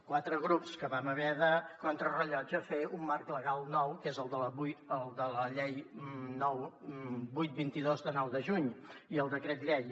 quatre grups que vam haver de contra rellotge fer un marc legal nou que és el de la llei vuit vint dos de nou de juny i el decret llei